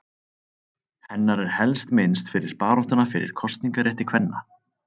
Hennar er helst minnst fyrir baráttuna fyrir kosningarétti kvenna.